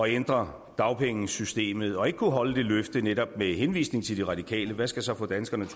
ændre dagpengesystemet og ikke kunne holde det løfte netop med henvisning til de radikale hvad skal så få danskerne